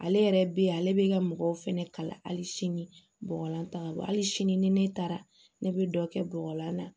Ale yɛrɛ bɛ ale bɛ ka mɔgɔw fɛnɛ kalan hali sini bɔgɔlan ta ka bɔ hali sini ni ne taara ne bɛ dɔ kɛ bɔgɔlan na